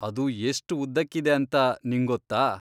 ಅದು ಎಷ್ಟ್ ಉದ್ದಕ್ಕಿದೆ ಅಂತ ನಿಂಗೊತ್ತಾ?